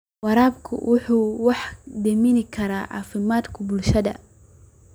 Waraabku waxa uu wax u dhimi karaa caafimaadka bulshada.